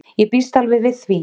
Ég býst alveg við því.